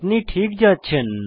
আপনি ঠিক যাচ্ছেন